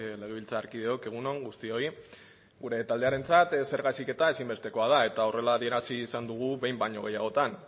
legebiltzarkideok egun on guztioi gure taldearentzat zerga heziketa ezinbestekoa da eta horrela adierazi izan dugu behin baino gehiagotan